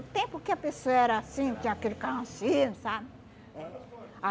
tempo que a pessoa era assim, tinha aquele carrancismo, sabe? Eh